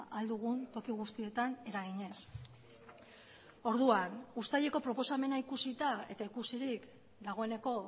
ahal dugun toki guztietan eraginez orduan uztaileko proposamena ikusita eta ikusirik dagoeneko